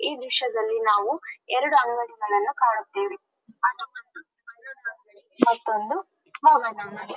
ಈ ದ್ರಶ್ಯದಲ್ಲಿ ನಾವು ಎರಡು ಅಂಗಡಿಗಳನ್ನು ಕಾಣುತ್ತೇವೆ ಮತ್ತೊಂದು ಮಗದೊಂದು--